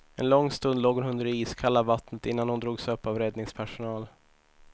En lång stund låg hon under det iskalla vattnet innan hon drogs upp av räddningspersonal.